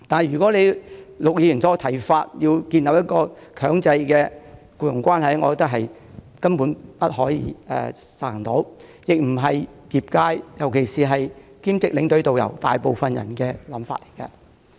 如果按照陸頌雄議員的建議，建立強制性的僱傭關係，我認為根本不可行，亦不是業界大部分從業員的意願。